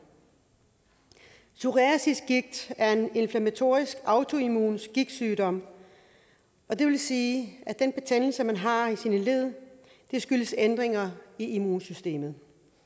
psoriasisgigt er en inflammatorisk autoimmun gigtsygdom det vil sige at den betændelse man har i sine led skyldes ændringer i immunsystemet